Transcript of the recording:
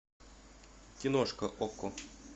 киношка окко